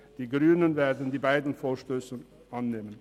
Die Grünen werden beide Vorstösse annehmen.